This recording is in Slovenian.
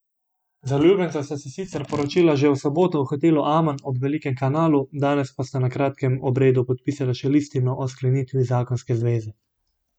Zaljubljenca sta se sicer poročila že v soboto v hotelu Aman ob Velikem kanalu, danes pa sta na kratkem obredu podpisala še listino o sklenitvi zakonske zveze.